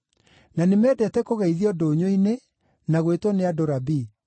na nĩmendete kũgeithio ndũnyũ-inĩ, na gwĩtwo nĩ andũ ‘Rabii’.